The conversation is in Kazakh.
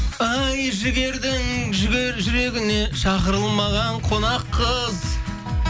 ай жігердің жүрегіне шақырылмаған қонақ қыз